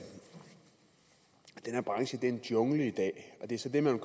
her branche er en jungle i dag og det er så det man